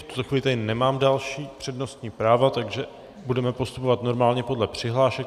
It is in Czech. V tuto chvíli tady nemám další přednostní práva, takže budeme postupovat normálně podle přihlášek.